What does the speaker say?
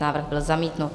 Návrh byl zamítnut.